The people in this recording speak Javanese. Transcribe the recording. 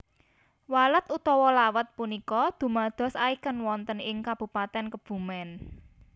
Walet utawa Lawet punika dumados icon wonten ing Kabupaten Kebumen